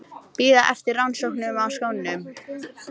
Bíða eftir rannsóknum á skónum